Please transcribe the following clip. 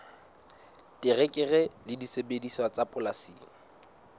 terekere le disebediswa tsa polasing